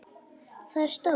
Það er stórt.